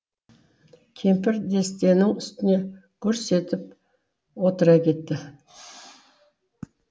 кемпір дестенің үстіне гүрс етіп отыра кетті